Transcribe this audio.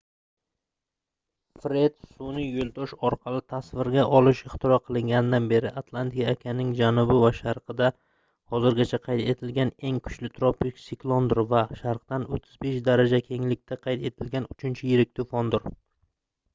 fred sunʼiy yoʻldosh orqali tasvirga olish ixtiro qilinganidan beri atlantika okeanining janubi va sharqida hozirgacha qayd etilganeng kuchli tropik siklondir va sharqdan 35 daraja kenglikda qayd etilgan uchinchi yirik toʻfondir